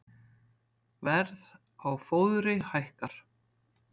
Verð á fóðri hækkar